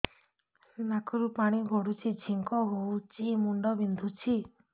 ନାକରୁ ପାଣି ଗଡୁଛି ଛିଙ୍କ ହଉଚି ମୁଣ୍ଡ ବିନ୍ଧୁଛି